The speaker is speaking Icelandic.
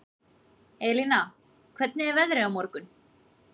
Elina, hvernig er veðrið á morgun?